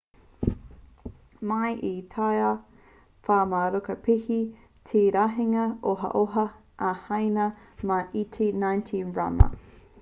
mai i taua wā rā kua piki te rahinga ohaoha a haina mai i te 90 taima